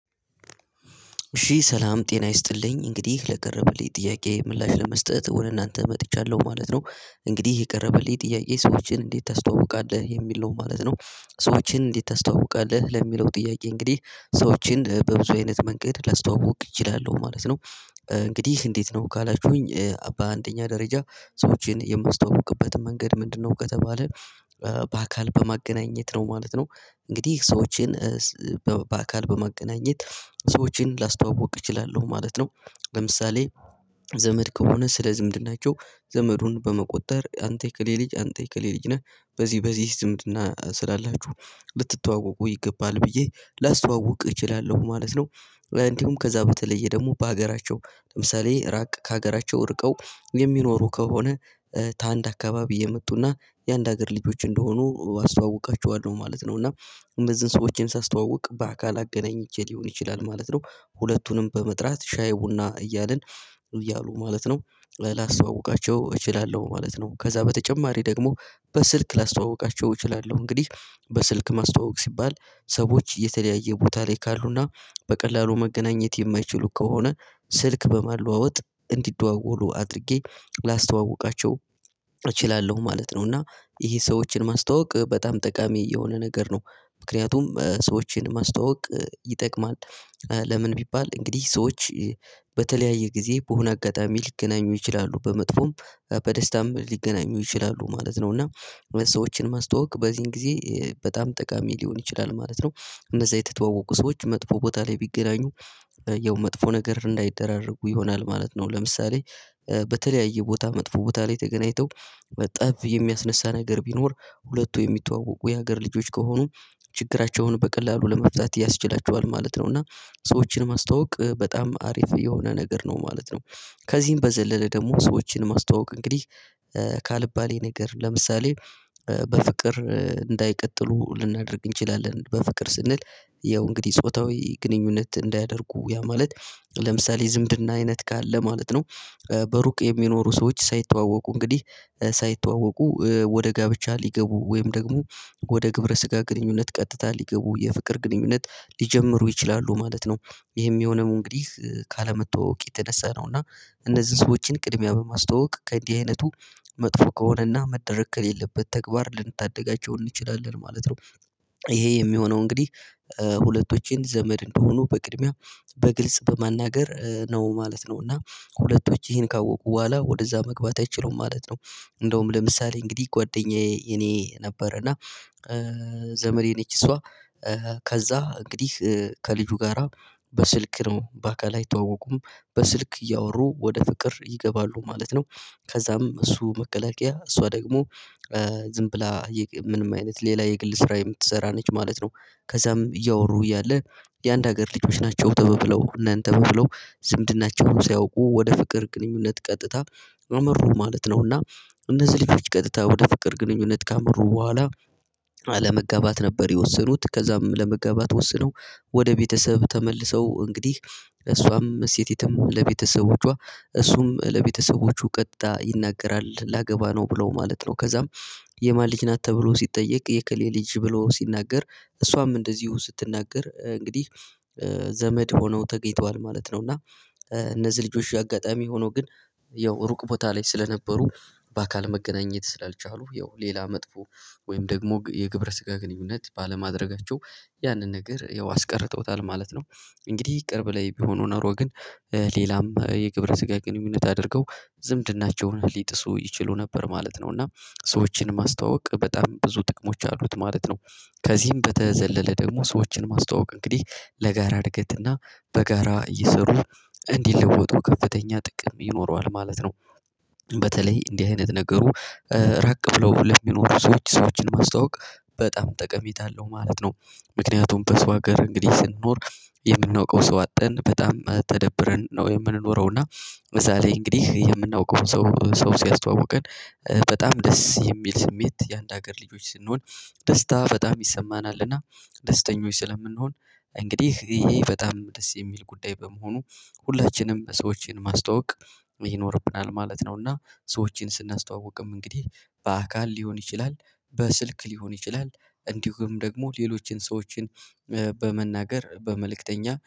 እሽ ሰላም ጤና ይስጥልኝ እንግዲህ ለቀረበልኝ ጥያቄ ምላሽ ለመስጠት ወደ እናንተ መጥቻለሁ ማለት ነው እንግዲህ የቀረበልኝ ጥያቄ ሰዎችን እንዴት ታስተዋውቃለህ የሚል ነው ማለት ነው? ሰዎችን እንዴት ታስተዋውቃለህ ለሚለው ጥያቄ እንግዲህ ሰዎችን በብዙ አይነት መንገድ ለስተዋውቅ እችላለሁ ማለት ነው። እንግዲህ እንዴት ነው ካላችሁኝ በአንደኛ ደረጃ ሰዎችን የማስተዋውቅበት መንገድ ምንድነው ከተባለ በአካል በማገናኘት ነው ማለት ነው። እንግዲህ ሰዎችን በአካል በመገናኘት ሰዎችን ላስተዋውቅ እችላለሁ ማለት ነው። ለምሳሌ ዘመድ ከሆነ ስለ ዝምድናቸው ዘመዱን በመቆጠር አንተ የከሌ ልጅ አንተ የእከሌ ልጅ ነህ በዚህ በዚህ ዝምድና ስላላችሁ ልትተዋወቁ ይገባል ብዬ ላስተዋውቅ እችላለሁ ማለት ነው። እንዲሁም ከዛ በተለየ ደግሞ በሀገራቸው ለምሳሌ ራቅ ከሀገራቸው ወርቀው የሚኖሩ ከሆነ ታንድ አካባቢ የመጡና የአንድ ሀገር ልጆች እንደሆኑ አስተዋውቃቸዋለሁ ማለት ነው እና እንደዚህን ሰዎችን ሳስተዋውቅ በአካል አገናኝቼ ሊሆን ይችላል ማለት ነው። ሁለቱንም በመጥራት ሻይ ቡና እያልን እያሉ ማለት ነው ላስተዋውቃቸው እችላለሁ ማለት ነው። ከዛ በተጨማሪ ደግሞ በስልክ ላስተዋውቃቸው እችላለሁ እንግዲህ በስልክ ማስተዋወቅ ሲባል ሰዎች የተለያየ ቦታ ላይ ካሉና በቀላሉ መገናኘት የማይችሉ ከሆነ ስልክ በማለዋወጥ እንዲደዋወሉ አድርጌ ላስተዋውቃቸው እችላለሁ ማለት ነው። እና ይሄ ሰዎችን ማስተዋወቅ በጣም ጠቃሚ የሆነ ነገር ነው። ምክንያቱም ሰዎችን ማስተዋወቅ ይጠቅማል። ለምን ቢባል እንግዲህ ሰዎች በተለያየ ጊዜ በሆነ አጋጣሚ ሊገናኙ ይችላሉ በመጥፎም በደስታም ሊገናኙ ይችላሉ ማለት ነው እና ሰዎችን ማስተዋወቅ በዚህን ጊዜ በጣም ጠቃሚ ሊሆን ይችላል ማለት ነው። እነዛ የተተዋወቁ ሰዎች መጥፎ ቦታ ላይ ቢገናኙ ያው መጥፎ ነገር እንዳይደራረጉ ይሆናል ማለት ነው። ለምሳሌ በተለያየ ቦታ መጥፎ ቦታ ላይ ተገናኝተው በጠብ የሚያስነሳ ነገር ቢኖር ሁለቱ የሚተዋወቁ የሀገር ልጆች ከሆኑ ችግራቸውን በቀላሉ ለመፍታት ያስችላቸዋል ማለት ነው። እና ሰዎችን ማስተዋወቅ በጣም አሪፍ የሆነ ነገር ነው ማለት ነው። ከዚህም በዘለለ ደግሞ ሰዎችን ማስተዋወቅ እንግዲህ ካልባሌ ነገር ለምሳሌ በፍቅር እንዳይቀጥሉ ልናደርግ እንችላለን በፍቅር ስንል ያው እንግዲህ ጾታዊ ግንኙነት እንዳያደርጉ ያ ማለት ለምሳሌ ዝምድና አይነት ካለ ማለት ነው። በሩቅ የሚኖሩ ሰዎች ሳይተዋወቁ እንግዲህ ሳይተዋወቁ ወደ ጋብቻ ሊገቡ ወይም ደግሞ ወደ ግብረ ስጋ ግንኙነት ቀጥታ ሊገቡ የፍቅር ግንኙነት ሊጀምሩ ይችላሉ ማለት ነው። ይሄም የሆነው እንግዲህ ካለመተዋወቅ የተነሳ ነው እና እነዚህን ሰዎችን ቅድሚያ በማስተዋወቅ ከእንዲህ አይነቱ መጥፎ ከሆነና መደረግ ከሌለበት ተግባር ልንታደጋቸው እንችላለን ማለት ነው። ይሄ የሚሆነው እንግዲህ ሁለቶችን ዘመድ እንደሆኑ በቅድሚያ በግልጽ በማናገር ነው ማለት ነው እና ሁለቶች ይሄን ካወቁ በኋላ ወደዛ መግባት አይችሉም ማለት ነው። እንደውም ለምሳሌ እንግዲህ ጓደኛዬ እኔ ነበር እና ዘመዴ ነች እሷ ከዛ እንግዲህ ከልጁ ጋራ በስልክ ነው በአካል አይተዋወቁም በስልክ እያወሩ ወደ ፍቅር ይገባሉ ማለት ነው ከዛም እሱ መከላከያ እሷ ደግሞ ዝም ብላ ምንም አይነት ሌላ የግል ስራ የምትሰራ ነች ማለት ነው። ከዛም እያወሩ እያለ የአንድ ሀገር ልጆች ናቸው ተባብለው እናንተ በብለው ዝምድናቸውን ሳያውቁ ወደ ፍቅር ግንኙነት ቀጥታ አመሩ ማለት ነው። እና እነዚህ ልጆች ቀጥታ ወደ ፍቅር ግንኙነት ካመሩ በኋላ መጋባት ነበር የወሰኑት ከዛም ለመጋባት ወስነው ወደ ቤተሰብ ተመልሰው እንግዲህ እሷም ስቲቱም ለቤተሰቦቿ እሱም ለቤተሰቦቹ ቀጥታ ይናገራል ላገባ ነው ብለው ማለት ነው። ከዛም የማን ልጅ ናት ተብሎ ሲጠየቅ የክሌ ልጅ ብሎ ሲናገር እሷም እንደዚሁ ስትናገር እንግዲህ ዘመድ ሆነው ተገኝተዋል ማለት ነው። እና እነዚህ ልጆች አጋጣሚ ሆኖ ግን ያው ሩቅ ቦታ ላይ ስለነበሩ በአካል መገናኘት ስላልቻሉ ያው ሌላ መጥፎ ወይም ደግሞ የግብረ ስጋ ግንኙነት ባለማድረጋቸው ያንን ነገር ያው አስቀርተውታል ማለት ነው። እንግዲህ ቅርብ ላይ ቢሆኑ ኖሮ ግን ሌላም የግብረ ስጋ ግንኙነት አድርገው ዝምድናቸውን ሊጥሱ ይችሉ ነበር ማለት ነው። እና ሰዎችን ማስተዋወቅ በጣም ብዙ ጥቅሞች አሉት ማለት ነው። ከዚህም በተዘለለ ደግሞ ሰዎችን ማስተዋወቅ እንግዲህ ለጋራ እድገትና በጋራ እየሰሩ እንዲለወጡ ከፍተኛ ጥቅም ይኖረዋል ማለት ነው። በተለይ እንዲህ አይነት ነገሩ ራቅ ብለው ለሚኖሩ ሰዎች ሰዎችን ማስታወቅ በጣም ጠቀሜታ አለው ማለት ነው። ምክንያቱም በሰው ሀገር እንግዲህ ስንኖር የምናውቀው ሰው አጠተን በጣም ተደብረን ነው የምንኖረውና እና ለዛ ላይ እንግዲህ የምናውቀውን ሰው ሰው ሲያስተዋውቀን በጣም ደስ የሚል ስሜት የአንድ ሀገር ልጆች ስንሆን ደስታ በጣም ይሰማናልና ደስተኞች ስለምንሆን እንግዲህ ይሄ በጣም ደስ የሚል ጉዳይ በመሆኑ ሁላችንም ሰዎችን ማስተዋወቅ ይኖርብናል ማለት ነው። እና ሰዎችን ስናስተዋውቅም እንግዲህ በአካል ሊሆን ይችላል በስልክ ሊሆን ይችላል እንዲሁም ደግሞ ሌሎችን ሰዎችን በመናገር በመልእክተኛ